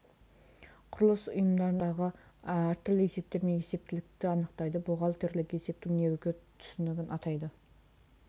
құрылыс ұйымдарындағы әртүрлі есептер мен есептілікті анықтайды бухгалтерлік есептің негізгі түсінігін атайды